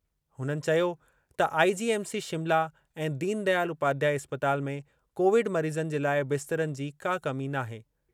हुननि चयो त आईजीएमसी शिमला ऐं दीनदयाल उपाध्याय इस्पताल में कोविड मरीज़नि जे लाइ बिस्तरनि जी का कमी नाहे।